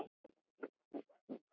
Samt færð þú aldrei bréf.